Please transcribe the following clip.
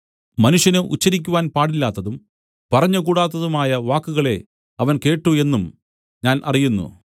മനുഷ്യന് ഉച്ചരിക്കുവാൻ പാടില്ലാത്തതും പറഞ്ഞുകൂടാത്തതുമായ വാക്കുകളെ അവൻ കേട്ടു എന്നും ഞാൻ അറിയുന്നു